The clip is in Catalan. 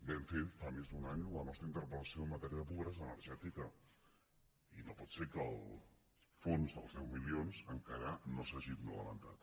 vam fer fa més d’un any la nostra interpellació en matèria de pobresa energètica i no pot ser que el fons dels deu milions encara no s’hagi implementat